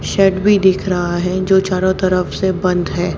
Shade भी दिख रहा है जो चारों तरफ से बंद है।